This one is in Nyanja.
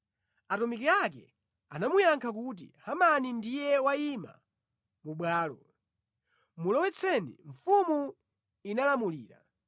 Atumiki ake anamuyankha kuti, “Hamani ndiye wayima mu bwalo.” “Mulowetseni,” Mfumu inalamulira.